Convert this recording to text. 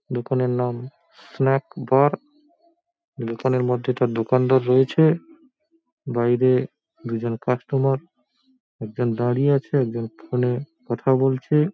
দোকানের নাম snack bar. দোকানের মধ্যে তার দোকানদার রয়েছে। বাইরে দুজন কাস্টমার একজন দাঁড়িয়ে আছে একজন ফোনে কথা বলছে।